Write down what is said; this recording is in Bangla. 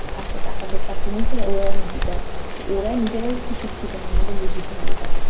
আর সে টাকা দিয়ে চাকরি নিয়েছে, ওই এখন teacher. তো ওরাই নিজেরাই শিক্ষিত না, আমাদের কি শিখেইবে ?